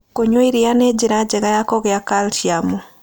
Kũnyua ĩrĩa nĩ njĩra njega ya kũgĩa calcĩũm